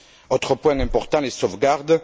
Autre point important, les sauvegardes.